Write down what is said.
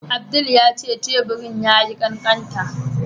Abdul ya ce teburin ya yi ƙaƙanta.